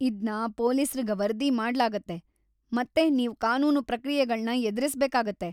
ಇದ್ನ ಪೊಲೀಸ್ರಿಗ್ ವರದಿ ಮಾಡ್ಲಾಗತ್ತೆ ಮತ್ತೆ ನೀವ್ ಕಾನೂನು ಪ್ರಕ್ರಿಯೆಗಳ್ನ ಎದ್ರಿಸ್ಬೇಕಾಗತ್ತೆ.